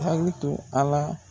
Hakili to a la